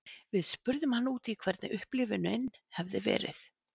Við spurðum hann út í hvernig upplifunin hefur verið.